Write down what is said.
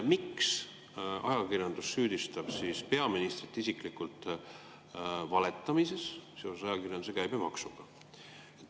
Miks ajakirjandus süüdistab peaministrit isiklikult valetamises seoses ajakirjanduse käibemaksuga?